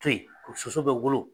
soso bɛ wolo.